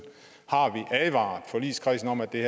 har vi advaret forligskredsen om at det